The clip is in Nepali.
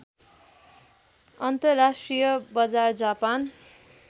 अन्तर्राष्ट्रिय बजार जापान